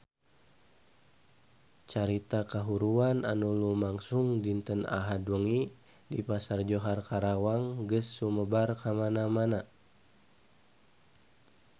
Carita kahuruan anu lumangsung dinten Ahad wengi di Pasar Johar Karawang geus sumebar kamana-mana